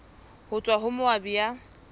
ho tswa ho moabi ya